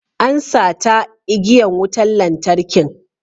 An sata igiyan wutan lantarkin.